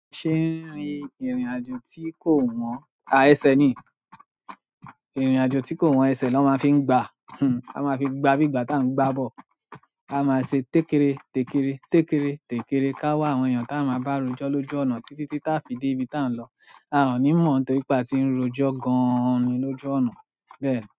Ṣé ń rí ìrìnàjò tí kò wọ́n, à ẹsẹ̀ ni, ìrìnàjò tí kò wọ́n ẹsẹ̀ lọ́ máa ń fi gba, a máa fi gba, gbígba tá ń gbá ball. A máa ṣe tékere, tèkere, tékere, tèkere ká wá àwọn èèyàn tá a máa bá rojọ́ lójú ọ̀nà títí tí tá fi dé ibi tá ń lọ. A ò ní mọ̀ torípé àti ń rojọ́ gan-an lójú ọ̀nà bẹ́ẹ̀ ni.